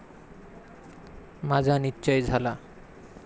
माझा निश्चय झाला.